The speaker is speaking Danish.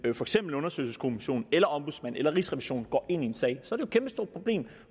undersøgelseskommission eller ombudsmanden eller rigsrevisionen går ind i en sag så kæmpestort problem